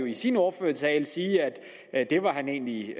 i sin ordførertale at det var han egentlig